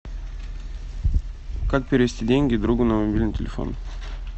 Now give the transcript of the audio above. как перевести деньги другу на мобильный телефон